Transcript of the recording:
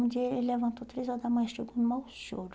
Um dia ele levantou três horas da manhã e chegou com o maior choro.